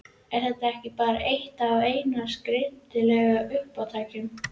Er þetta ekki bara eitt af hennar skringilegu uppátækjum?